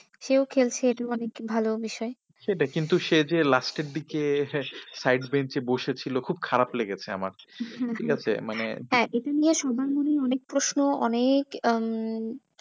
সেও খেলছে এটা অনেক ভালো বিষয়। সেটাই সে যে last এর দিকে side breanch এ বসে ছিল খুব খারাপ লেগেছে আমার হম হম ঠিক আছে মানে হ্যাঁ এটা নিয়ে সবার মনে অনেক প্রশ্ন অনেক উম